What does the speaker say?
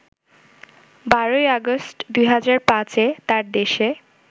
১২ August ২০০৫ এ তাঁর দেশে